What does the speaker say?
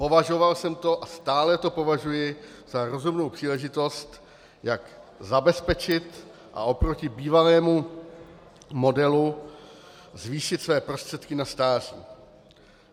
Považoval jsem to a stále to považuji za rozumnou příležitost, jak zabezpečit a oproti bývalému modelu zvýšit své prostředky na stáří.